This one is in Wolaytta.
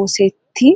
oosettii?